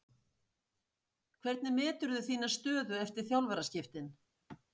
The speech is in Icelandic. Hvernig meturðu þína stöðu eftir þjálfaraskiptin?